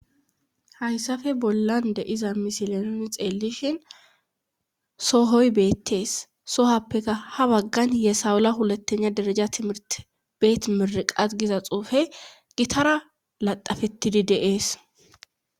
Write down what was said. hayssafe bollan de7iza misile nuni xeelishin sohoy beettees sohappeka ha baggan yesawula hulattena dereja timirti beet miriqat qas giza xuufe gitara laxafetidi de7ees.